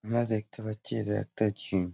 আমরা দেখতে পাচ্ছি এটা একটা জিম ।